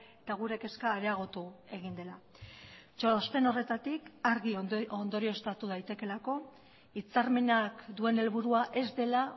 eta gure kezka areagotu egin dela txosten horretatik argi ondorioztatu daitekeelako hitzarmenak duen helburua ez dela